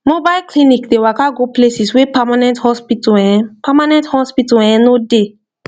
mobile clinic dey waka go places wey permanent hospital[um]permanent hospital[um]no dey